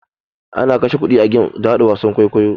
Ana kashe kuɗi a game da haɗa wasan kwaikwayo.